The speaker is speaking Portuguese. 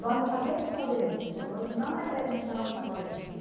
Nós não fazemos só denúncia, nós não representamos só isso.